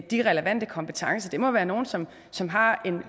de relevante kompetencer det må være nogle som som har